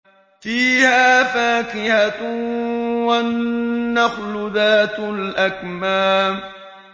فِيهَا فَاكِهَةٌ وَالنَّخْلُ ذَاتُ الْأَكْمَامِ